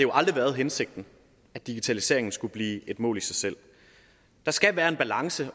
aldrig været hensigten at digitaliseringen skulle blive et mål i sig selv der skal være en balance